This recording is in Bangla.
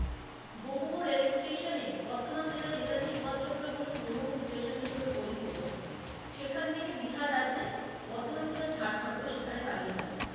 ঘোমহ রেল স্টেশনে বর্তমানে যেটা নেতাদি সুভাষ চন্দ্র বসু ঘোমহ স্টেশন হিসেবে পরিচিত সেখান থেকে বিহার রাজ্যে বর্তমানে যেটা ঝাড়খণ্ড সেখানে পালিয়ে যান ।